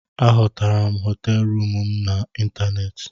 Ahotara m hoteelu m na ịntanéétị